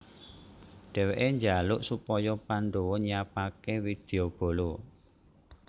Dheweke njaluk supaya Pandhawa nyiapake widyabala